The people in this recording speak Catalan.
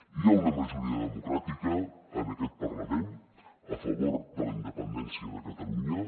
i hi ha una majoria democràtica en aquest parlament a favor de la independència de catalunya